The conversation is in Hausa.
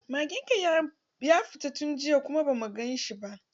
Magen ka ya fita tun jiya kuma ba mu ganshi ba.